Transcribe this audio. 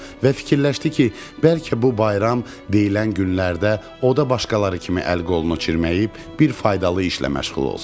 Və fikirləşdi ki, bəlkə bu bayram deyilən günlərdə o da başqaları kimi əl-qolunu çirməyib bir faydalı işlə məşğul olsun.